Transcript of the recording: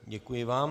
Děkuji vám.